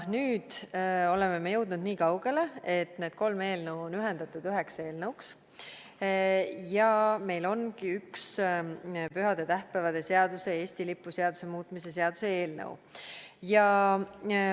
Nüüd oleme me jõudnud niikaugele, et need kolm eelnõu on ühendatud üheks eelnõuks ja meil ongi üks pühade ja tähtpäevade seaduse ning Eesti lipu seaduse muutmise seaduse eelnõu.